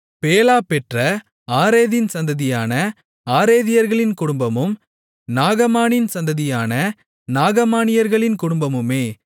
Bela பெற்ற ஆரேதின் சந்ததியான ஆரேதியர்களின் குடும்பமும் நாகமானின் சந்ததியான நாகமானியர்களின் குடும்பமுமே